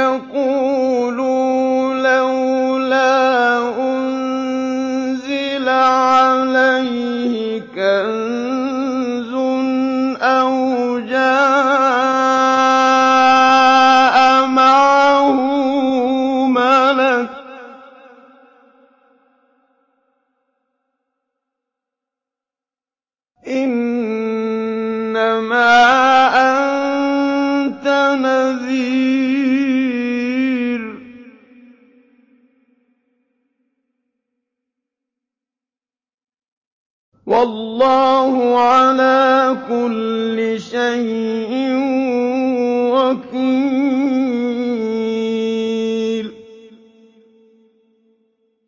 يَقُولُوا لَوْلَا أُنزِلَ عَلَيْهِ كَنزٌ أَوْ جَاءَ مَعَهُ مَلَكٌ ۚ إِنَّمَا أَنتَ نَذِيرٌ ۚ وَاللَّهُ عَلَىٰ كُلِّ شَيْءٍ وَكِيلٌ